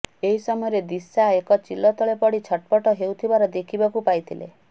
ଏହି ସମୟରେ ଦିଶା ଏକ ଚିଲ ତଳେ ପଡି ଛଟପଟ ହେଉଥିବାର ଦେଖିବାକୁ ପାଇଥିଲେ